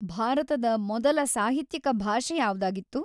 ಭಾರತದ ಮೊದಲ ಸಾಹಿತ್ಯಿಕ ಭಾಷೆ ಯಾವ್ದಾಗಿತ್ತು?